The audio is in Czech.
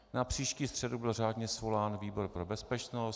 Na příští středu byl řádně svolán výbor pro bezpečnost.